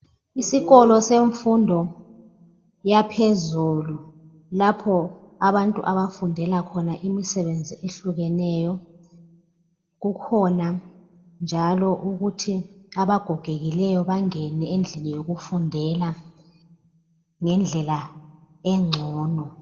isikolo semfundo yaphezulu lapho abantu abafundela khona imisebenzi ehlukeneyo kukhona njalo ukuthi abagogekileyo bangene endlini yokufundela ngendlela engcono